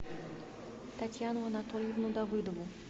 татьяну анатольевну давыдову